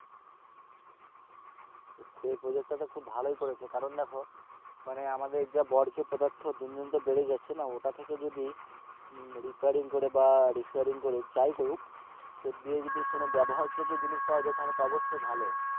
সেই project তা তো ভালোই করেছে কারণ দেখো মানে আমাদের যা বর্জ্য পদার্থ দিন দিন তো বেড়েই যাচ্ছে না ওটা থেকে যদি repairing করে বা যাই করুক সে দিকে যদি কোনো ব্যবহার যোগ্য জিনিস পাওয়া যায় সে দিকে তো অবশ্যই ভালো,